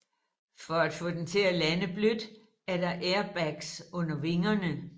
For at få den til at lande blødt er der airbags under vingerne